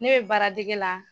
Ne baradege la.